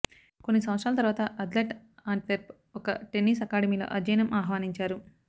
కొన్ని సంవత్సరాల తరువాత అథ్లెట్ ఆంట్వెర్ప్ ఒక టెన్నిస్ అకాడమీలో అధ్యయనం ఆహ్వానించారు